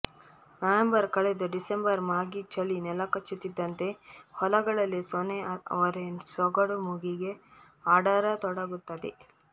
November ಕಳೆದು December ಮಾಗಿ ಚಳಿ ನೆಲಕಚ್ಚುತ್ತಿದ್ದಂತೆ ಹೊಲಗಳಲ್ಲಿ ಸೊನೆ ಅವರೆ ಸೊಗಡು ಮೂಗಿಗೆ ಅಡರತೊಡಗುತ್ತದೆ